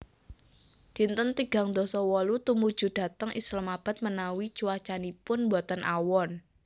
Dinten tigang dasa wolu Tumuju dhateng Islamabad menawi cuaacanipun boten awon